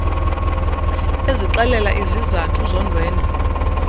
ezixela izizathu zondwendwe